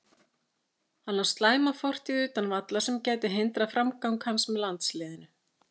Hann á slæma fortíð utan vallar sem gæti hindrað framgang hans með landsliðinu.